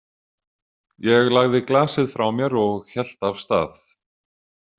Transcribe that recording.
Ég lagði glasið frá mér og hélt af stað.